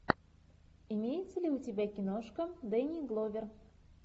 имеется ли у тебя киношка дэнни гловер